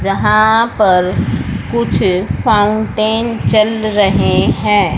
जहां पर कुछ फाउंटेन चल रहे हैं।